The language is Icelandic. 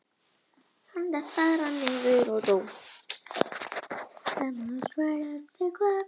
Þegar þrengingar urðu í munklífi á sextándu öld hurfu öll klaustrin aftur til upphaflegs skipulags.